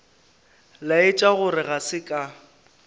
laetša gore ga se ka